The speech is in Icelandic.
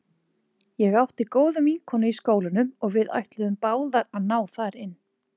Ég átti góða vinkonu í skólanum og við ætluðum báðar að ná þar inn.